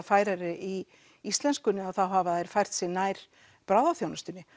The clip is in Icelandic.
færari í íslenskunni þá hafa þeir fært sig nær bráðaþjónustunni